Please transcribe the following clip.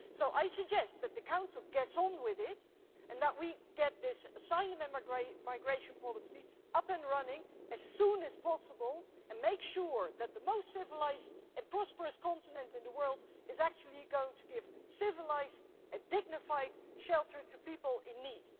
I suggest that the Council gets on with it and that we get this asylum and migration policy up and running as soon as possible, and make sure that the most civilised and prosperous continent in the world is actually going to give civilised and dignified shelter to people in need.